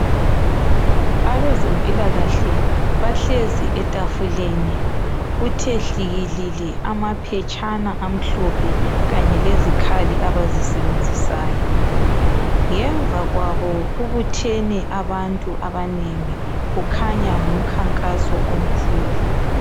Abezempilakahle bahlezi etafuleni kuthe hlikilili amaphetshana amhlophe kanye lezikhali abazisebenzisayo ngemva kwabo kubuthene abantu abanengi kukhanya ngumkhankaso omkhulu.